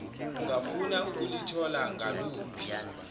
ungafuna ukulithola ngaluphi